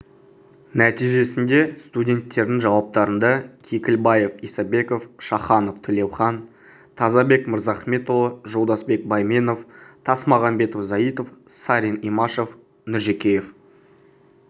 нәтижесінде студенттердің жауаптарында кекілбаев исабеков шаханов тілеухан тазабек мырзахметұлы жолдасбек байменов тасмағамбетов заитов сарин имашев нұржекеев